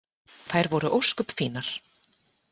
Þær voru ósköp fínar.